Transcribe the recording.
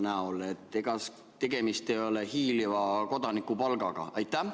Ega tegemist ei ole hiiliva kodanikupalgaga?